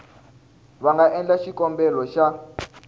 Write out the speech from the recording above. va nga endla xikombelo xa